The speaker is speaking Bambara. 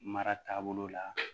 Mara taabolo la